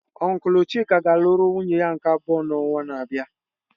Ọnklu chika ga-alụrụ nwunye ya nke abụọ n'ọnwa na-abịa.